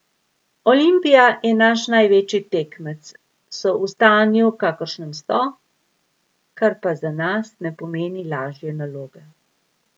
Olimpija je naš največji tekmec, so v stanju, kakršnem so, kar pa za nas ne pomeni lažje naloge.